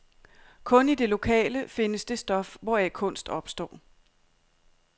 Kun i det lokale findes det stof, hvoraf kunst opstår.